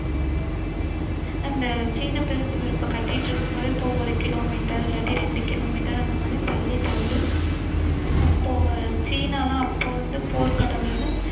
இந்த சீன பெருஞ்சுவர் இப்போ கட்டிட்டு இருக்கும் போது இப்போ ஒரு கிலோமீட்டர் இல்லாட்டி இரண்டு கிலோமீட்டர் அந்த மாதிரி தள்ளி தள்ளி சீன எல்லாம் அப்போ வந்து போர் கடவுளுனு